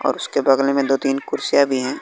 और उसके बगल में दो तीन कुर्सियां भी हैं।